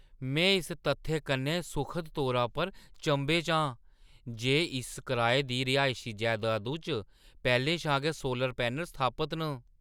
में इस तत्थै कन्नै सुखद तौरा पर चंभे च आं जे इस कराए दी रिहायशी जैदादु च पैह्‌लें शा गै सोलर पैनल स्थापत न।